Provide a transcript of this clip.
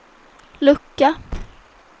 lucka